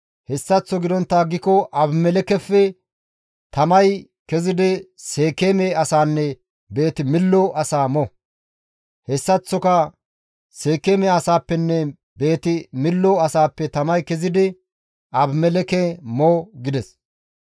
Hessaththo gidontta aggiko Abimelekkefe tamay kezidi Seekeeme asaanne Beeti-Millo asaa mo; hessaththoka Seekeeme asaappenne Beeti-Millo asaappe tamay kezidi Abimelekke mo» gides.